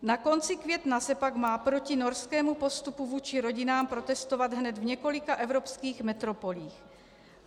Na konci května se pak má proti norskému postupu vůči rodinám protestovat hned v několika evropských metropolích.